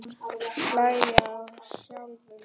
Hlæja að sjálfum sér.